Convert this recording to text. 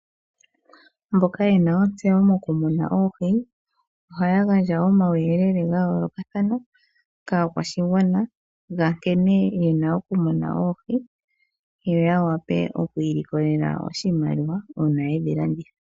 Mboka ye na ontseyo mokumuna oohi ohaya gandja omauyelele ga yolokathana kaakwashigwana ga nkene ye na okumuna oohi yo ya wape okwiilikolele oshimaliwa uuna yedhi landitha.